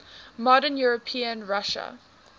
modern european russia